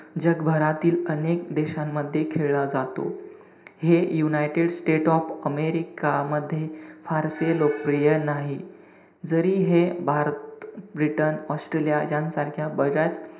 जगभरातील अनेक देशांमध्ये खेळला जातो. हे युनाइटेड स्टेट ऑफ अमेरिका मध्ये फारसे लोकप्रिय नाही. जरी हे भारत, ब्रिटन, ऑस्ट्रेलिया यासारख्या बऱ्याच,